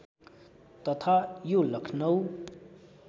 तथा यो लखनऊ